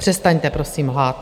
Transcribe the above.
Přestaňte prosím lhát.